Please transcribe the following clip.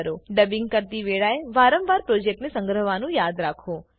dubbing કરતી વેળાએ વારંવાર પ્રોજેક્ટ સંગ્રહવાનું યાદ રાખો